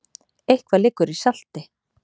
Eitthvað liggur í salti